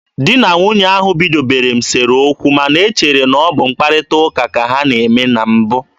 Di na nwunye ahụ bidobere m sere okwu, ma na e chere na ọ bụ mkparịta ụka ka ha na-eme na mbụ.